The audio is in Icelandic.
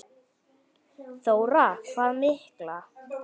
Þóra: Hvað mikla?